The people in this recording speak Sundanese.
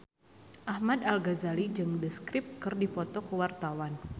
Ahmad Al-Ghazali jeung The Script keur dipoto ku wartawan